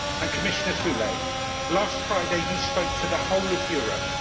Commissioner Füle, last Friday you spoke for the whole of Europe.